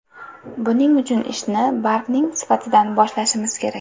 Buning uchun ishni bargning sifatidan boshlashimiz kerak.